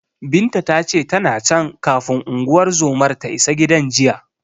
Binta ta ce, tana can, kafin unguwar zomar ta isa gidan jiya.